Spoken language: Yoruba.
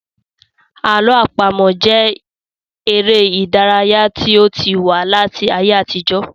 Àlọ àpamọ jẹ èrè ìdárayá tí ó ti wà láti ayé àtijó